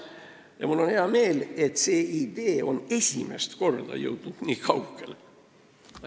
Ja mul on hea meel, et see idee on esimest korda nii kaugele jõudnud.